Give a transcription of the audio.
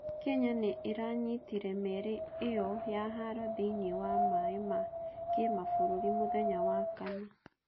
Kenya nĩ iranyitire meri ĩo ya haro thĩiniĩ wa mai ma kimabũrũri mũthenya wa wakana.